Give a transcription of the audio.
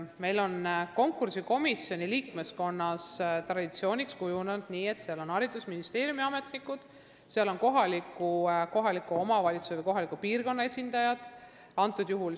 Meil on konkursikomisjoni liikmeskonna puhul traditsiooniks kujunenud, et seal on haridusministeeriumi ametnikud ja kohaliku omavalitsuse või kohaliku piirkonna esindajad .